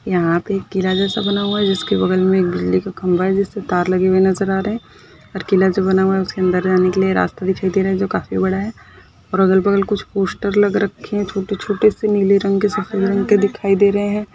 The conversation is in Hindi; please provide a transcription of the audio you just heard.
यहा पे एक किला जैसा बना हुआ है जिसके बगल एक बिजली खंबा है जिस पर तार लगे हुई नज़र आ रहे है और किलाजो बना हुआ है उसके अंदर रहने के लिए रास्ता दिखाई दे रही जो काफी बड़ा है और अगल-बगल कुछ पोस्टर लग रखे है छोटे-छोटे से नीले रंग के सफ़ेद रंग के दिखाई दे रहे है।